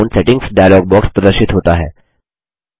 account settings dialog box प्रदर्शित होता है